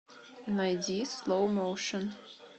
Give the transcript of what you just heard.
найди слоу моушн